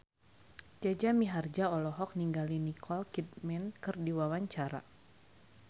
Jaja Mihardja olohok ningali Nicole Kidman keur diwawancara